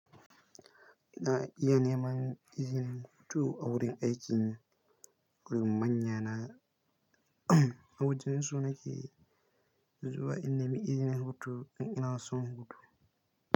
Ina iya neman izinin hutu a wurin aikin yi gurin manya na awajensu na ke zuwa in nemi izinin hutu in ina son hutu.